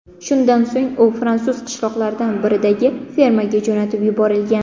Shundan so‘ng u fransuz qishloqlaridan biridagi fermaga jo‘natib yuborilgan.